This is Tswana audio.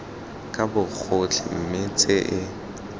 ka bogotlhe mme tse e